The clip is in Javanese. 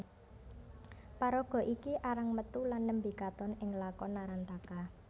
Paraga iki arang metu lan nembé katon ing lakon Narantaka